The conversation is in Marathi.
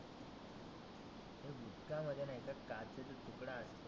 त्याच्या मध्ये काचेचे तुकडे असते.